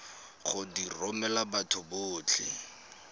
go di romela batho botlhe